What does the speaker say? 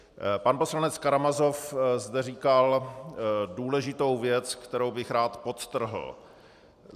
Pan poslanec Karamazov zde říkal důležitou věc, kterou bych rád podtrhl.